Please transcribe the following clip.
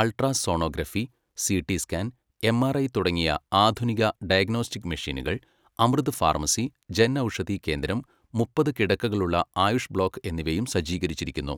Ultrasonography, CT scan, MRI തുടങ്ങിയ ആധുനിക diagnostic മെഷീനുകൾ, അമൃത് ഫാർമസി, ജൻ ഔഷധി കേന്ദ്രം, മുപ്പത് കിടക്കകളുള്ള ആയുഷ് ബ്ലോക്ക് എന്നിവയും സജ്ജീകരിച്ചിരിക്കുന്നു.